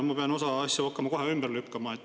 No ma pean osa asju kohe ümber lükkama.